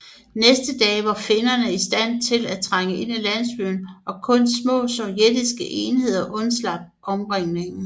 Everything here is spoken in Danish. Næste dag var finnerne i stand til at trænge ind i landsbyen og kun små sovjetiske enheder undslap omringningen